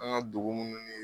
An ŋa dugu munnu ni